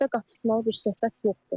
Burda qaçırdılmalı bir söhbət yoxdur.